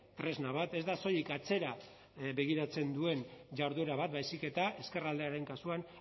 tresna bat ez da soilik atzera begiratzen duen jarduera bat baizik eta ezkerraldearen kasuan